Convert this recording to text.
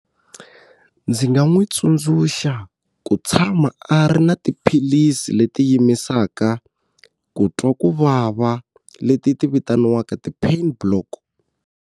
Ndzi nga n'wi tsundzuxa ku tshama a ri na tiphilisi leti yimisaka ku twa ku vava leti ti vitaniwaka ti-pain block.